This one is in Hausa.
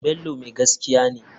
Bello mai gaskiya ne.